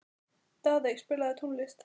Daðey, spilaðu tónlist.